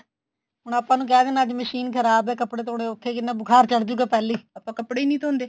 ਹੁਣ ਆਪਾਂ ਨੂੰ ਕਹਿ ਦੇਣ ਅੱਜ ਮਸ਼ੀਨ ਖ਼ਰਾਬ ਹੈ ਕੱਪੜੇ ਧੋਣੇ ਔਖੇ ਕਿੰਨਾ ਬੁਖਾਰ ਚੜ੍ਹ ਜੁਗਾ ਪਹਿਲਾਂ ਹੀ ਆਪਾਂ ਕੱਪੜੇ ਨੀ ਧੋਂਦੇ